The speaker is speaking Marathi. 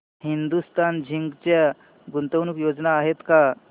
हिंदुस्तान झिंक च्या गुंतवणूक योजना आहेत का